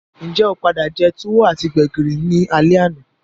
Njé o padà je tuwo ati gbẹ̀gìrì ni alé àná?